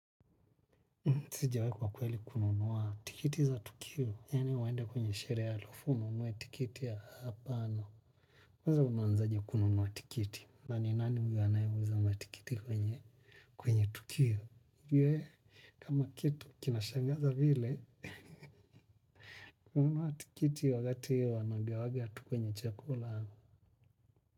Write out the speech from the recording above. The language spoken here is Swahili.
Sijawai kwa kweli kununua tikiti za tukio. Yani uende kwenye sherehe halafu, ununue tikiti ya hapana. Kwanza unaanzaje kununua tikiti. Na ni nani huyo anayeuza matikiti kwenye kwenye tukio? Kwa kitu kinashangaza vile, kununua tikiti wakati hiyo anagewagatu kwenye chakula.